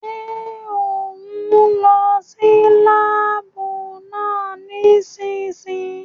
Ṣé òún lọ sí láàbù náà nísìsiyìí?